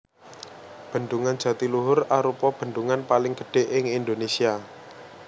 Bendungan Jatiluhur arupa bendungan paling gedhé ing Indonésia